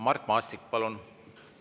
Mart Maastik, palun!